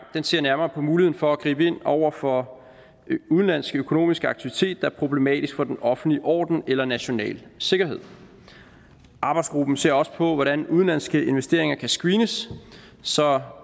ser nærmere på muligheden for at gribe ind over for udenlandsk økonomisk aktivitet der er problematisk for den offentlige orden eller national sikkerhed arbejdsgruppen ser også på hvordan udenlandske investeringer kan screenes så